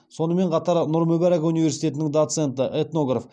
сонымен қатар нұр мүбарак университетінің доценті этнограф